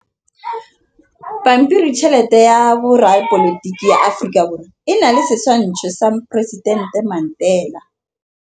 Pampiritšheletê ya Repaboliki ya Aforika Borwa e na le setshwantshô sa poresitentê Mandela.